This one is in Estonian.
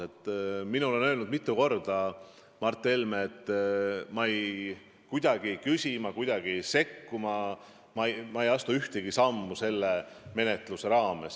Minule on Mart Helme mitu korda öelnud, et ta ei küsi selle kohta, et ta kuidagi ei sekku sellesse, ei astu ühtegi sammu selle menetlusega seoses.